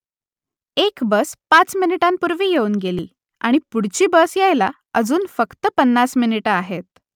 एक बस पाच मिनिटांपूर्वी येऊन गेली आणि पुढची बस यायला अजून फक्त पन्नास मिनिटं आहेत